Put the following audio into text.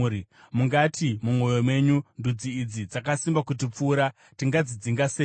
Mungati mumwoyo menyu, “Ndudzi idzi dzakasimba kutipfuura. Tingadzidzinga seiko?”